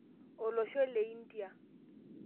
olosho le India